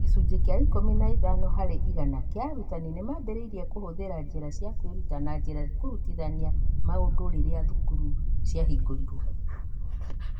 Gĩcunjĩ kĩa ikũmi na ĩtano harĩ igana kĩa arutani nĩ maambĩrĩirie kũhũthĩra njĩra cia kwĩruta na njĩra ya kũrutithania maũndũ rĩrĩa thukuru ciahingũrirũo.